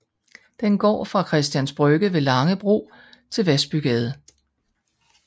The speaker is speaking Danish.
Den går fra Christians Brygge ved Langebro til Vasbygade